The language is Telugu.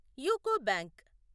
UCO bank